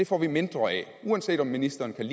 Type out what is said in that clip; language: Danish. får vi mindre af uanset om ministeren kan